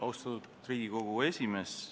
Austatud Riigikogu aseesimees!